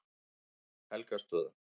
Helgastöðum